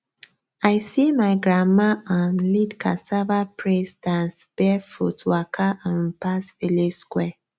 i see my grandma um lead cassava praise dance barefoot waka um pass village square